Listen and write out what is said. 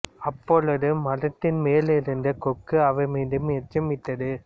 அப்பொழுது மரத்தின் மேல் இருந்த கொக்கு அவர்மீது எச்சம் இட்டது